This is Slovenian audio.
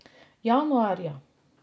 Januarja.